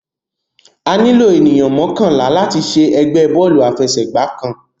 Àní ló ènìyàn mọkanla lati ṣe ẹgbẹ Bọ́ọ̀lù àfẹsẹ̀gbá kan